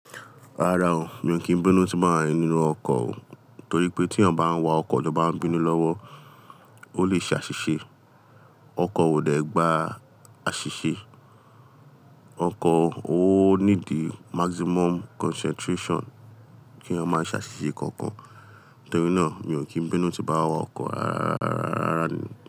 Rárá o, mi ò kí n bínú tí n bá wa nínú ọkọ̀ o. Torí pé tí ẹyan bá n wa ọkọ̀ tọ bá n bínú lọ́wọ́, ó lè ṣe àṣìṣe. Ọkọ̀ ò dẹ́ gba àṣìṣe. Ọkọ̀, ó nídi maximum concentration kí ẹ̀yan máa ṣe àṣìṣe kankan. Torí náà, mi ò kí n bínú tí bá wa ọkọ̀ rárá, rárá ni.